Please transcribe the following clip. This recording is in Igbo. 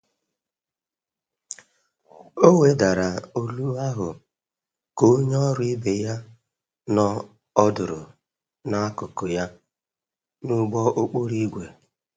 O wedara olu ahụ ka onye ọrụ ibe ya nọ ọdụrụ n'akụkụ ya n'ụgbọ okporo ígwè.